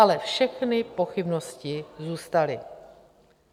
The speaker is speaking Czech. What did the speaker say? Ale všechny pochybnosti zůstaly.